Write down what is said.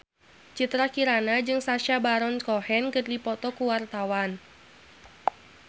Citra Kirana jeung Sacha Baron Cohen keur dipoto ku wartawan